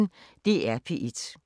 DR P1